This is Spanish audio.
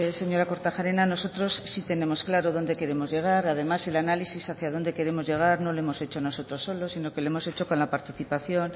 señora kortajarena nosotros sí tenemos claro dónde queremos llegar además el análisis hacia donde queremos llegar no lo hemos hecho nosotros solo sino que lo hemos hecho con la participación